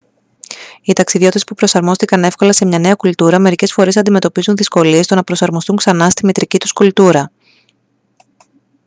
οι ταξιδιώτες που προσαρμόστηκαν εύκολα σε μια νέα κουλτούρα μερικές φορές αντιμετωπίζουν δυσκολίες στο να προσαρμοστούν ξανά στη μητρική τους κουλτούρα